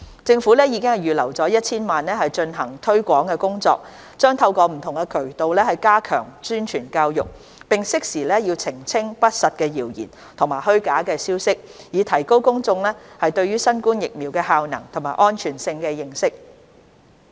政府已預留 1,000 萬元進行推廣工作，將透過不同渠道加強宣傳教育，並適時澄清不實的謠言和虛假消息，以提高公眾對新冠疫苗的效能和安全性的認識。